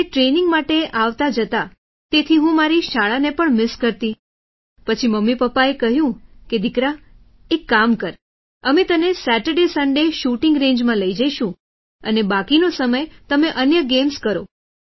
એટલે ટ્રેનિંગ માટે આવતાજતા તેથી હું મારી શાળાને પણ મિસ કરતી પછી મમ્મીપપ્પાએ કહ્યું કે દીકરા એક કામ કર અમે તને સેચરડેસંડે શૂટિંગ રેન્જમાં લઈ જઈશું અને બાકીનો સમય તમે અન્ય ગેમ્સ કરો